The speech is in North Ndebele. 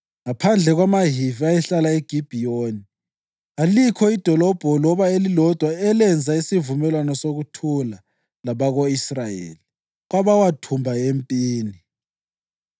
Ngaphandle kwamaHivi ayehlala eGibhiyoni, kalikho idolobho loba elilodwa elenza isivumelwano sokuthula labako-Israyeli, kwabawathumba empini.